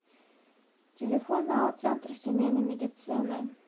телефон ао центр семейной медицины